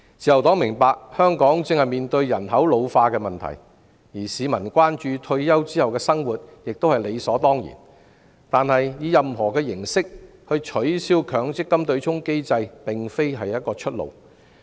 自由黨明白香港正面對人口老化的問題，而市民關注退休後的生活亦是理所當然，但以任何形式取消強積金對沖機制並非出路。